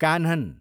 Kanhan